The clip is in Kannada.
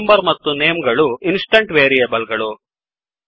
roll number ಮತ್ತು ನೇಮ್ ಗಳು ಇನ್ಸ್ಟೆಂಟ್ ವೆರಿಯೆಬಲ್ ಗಳು